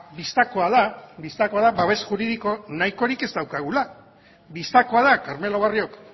bistakoa da bistakoa da babes juridiko nahikorik ez daukagula bistakoa da carmelo barriok